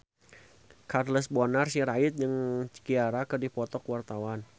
Charles Bonar Sirait jeung Ciara keur dipoto ku wartawan